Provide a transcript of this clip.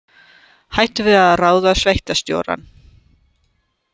Hættu við að ráða sveitarstjórann